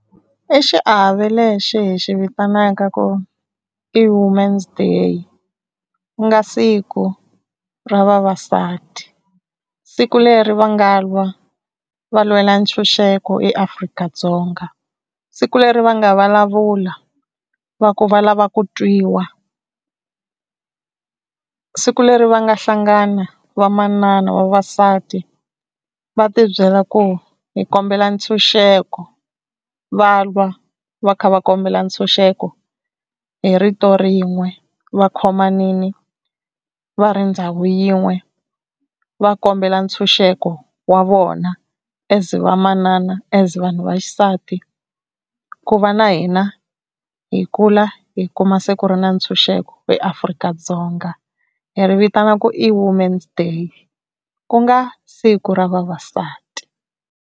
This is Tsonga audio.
I xiave lexi hi xi vitanaka ku i woman's day ku nga siku ra vavasati siku leri va nga lwa va lwela ntshunxeko eAfrika-Dzonga, siku leri va nga vulavula va ku va lava ku twiwa, siku leri va nga hlangana vamanana vavasati va tibyela ku hi kombela ntshunxeko va lwa va kha va kombela ntshunxeko hi rito rin'we va khomanini va ri ndhawu yin'we va kombela ntshunxeko wa vona as vamanana as vanhu vaxisati ku va na hina hi kula hi kuma se ku ri na ntshunxeko eAfrika-Dzonga hi ri vitana ku i woman's day ku nga siku ra vavasati.